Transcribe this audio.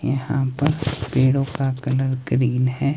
यहां पर पेड़ों का कलर ग्रीन है।